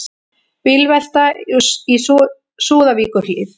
Bílvelta í Súðavíkurhlíð